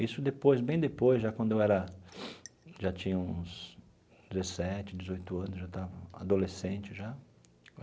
Isso depois bem depois, já quando eu era já tinha uns dezessete, dezoito anos, eu já estava adolescente já.